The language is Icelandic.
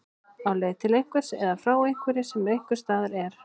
Á leið til einhvers eða frá einhverju sem einhvers staðar er.